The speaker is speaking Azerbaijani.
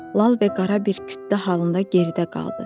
Lal və qara bir kütlə halında geridə qaldı.